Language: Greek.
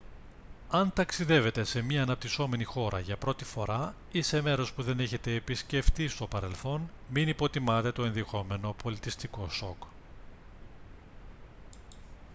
αν ταξιδεύετε σε μια αναπτυσσόμενη χώρα για πρώτη φορά ή σε μέρος που δεν έχετε επισκεφτεί στο παρελθόν μην υποτιμάτε το ενδεχόμενο πολιτισμικό σοκ